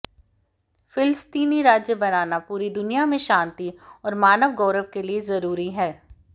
फिलस्तीनी राज्य बनाना पूरी दुनिया में शांति और मानव गौरव के लिए जरूरी है